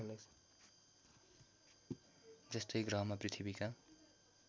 जस्तै ग्रहमा पृथ्वीका